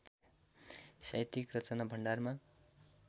साहित्यिक रचना भण्डारमा